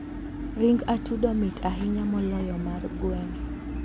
ring atudo mit ahinya moloyo mar gweno.